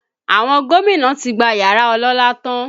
Àwọn gómìnà tí gba yàrá ọlọ́lá tán